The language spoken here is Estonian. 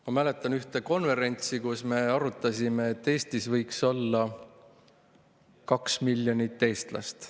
Ma mäletan ühte konverentsi, kus me arutasime, et Eestis võiks olla 2 miljonit eestlast.